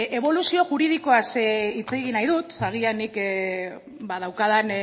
eboluzio juridikoaz hitz egin nahi dut agian nik daukadan